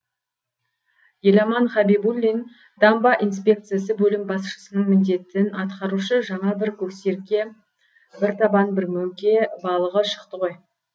еламан хабибуллин дамба инспекциясы бөлім басшысының міндетін атқарушы жаңа бір көксерке бір табан бір мөңке балығы шықты ғой